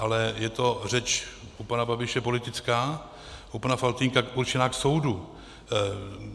Ale je to řeč u pana Babiše politická, u pana Faltýnka určená k soudu.